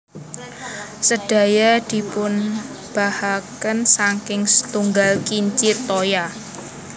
Sedaya dipunobahaken saking setunggal kincir toya